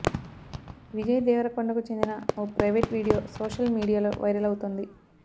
విజయ్ దేవరకొండకు చెందిన ఓ ప్రైవేట్ వీడియో సోషల్ మీడియాలో వైరల్ అవుతోంది